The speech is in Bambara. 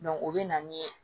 o bɛ na ni